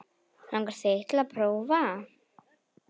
Langar þig til að prófa?